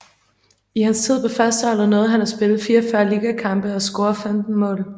I hans tid på førsteholdet nåede han at spille 44 ligakampe og score 15 mål